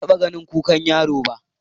Ban taɓa ganin kukan yaro ba.